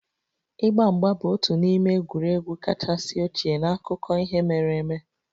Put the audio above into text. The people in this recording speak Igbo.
Ịgba mgba bụ otu n'ime egwuregwu kachasị ochie n'akụkọ ihe mere eme